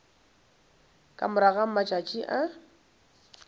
ka morago ga matšatši a